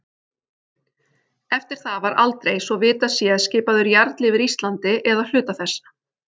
Eftir það var aldrei, svo að vitað sé, skipaður jarl yfir Íslandi eða hluta þess.